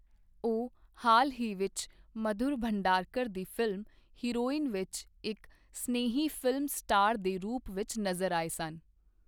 ਉਹ ਹਾਲ ਹੀ ਵਿੱਚ ਮਧੁਰ ਭੰਡਾਰਕਰ ਦੀ ਫਿਲਮ 'ਹੀਰੋਇਨ' ਵਿੱਚ ਇੱਕ ਸਨੇਹੀ ਫਿਲਮ ਸਟਾਰ ਦੇ ਰੂਪ ਵਿੱਚ ਨਜ਼ਰ ਆਏ ਸਨ।